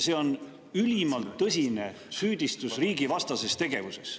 See on ülimalt tõsine süüdistus riigivastases tegevuses.